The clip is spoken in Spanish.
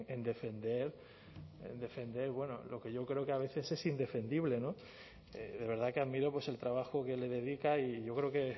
en defender en defender bueno lo que yo creo que a veces es indefendible no de verdad que admiro pues el trabajo que le dedica y yo creo que